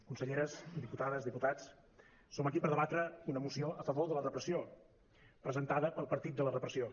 conselleres diputades diputats som aquí per debatre una moció a favor de la repressió presentada pel partit de la repressió